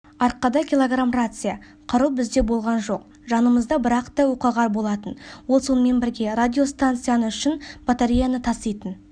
арқада килограмм рация қару бізде болған жоқ жанымызда бірақ та оққағар болатын ол сонымен бірге радиостанцияны үшін батареяны таситын